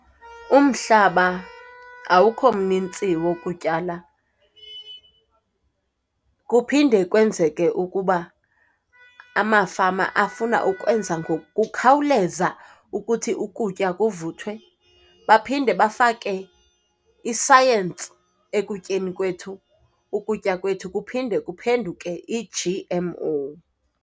Umhlaba awukho mnintsi wokutyala. Kuphinde kwenzeke ukuba amafama afuna ukwenza ngokukhawuleza ukuthi ukutya kuvuthwe. Baphinde bafake isayensi ekutyeni kwethu. Ukutya kwethu kuphinde kuphenduke i-G_M_O.